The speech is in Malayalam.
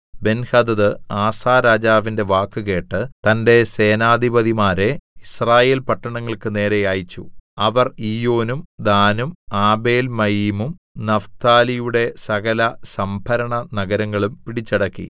ബെൻഹദദ് ആസാരാജാവിന്റെ വാക്കുകേട്ട് തന്റെ സേനാധിപതിമാരെ യിസ്രായേൽ പട്ടണങ്ങൾക്കു നേരെ അയച്ചു അവർ ഈയോനും ദാനും ആബേൽമയീമും നഫ്താലിയുടെ സകല സംഭരണ നഗരങ്ങളും പിടിച്ചടക്കി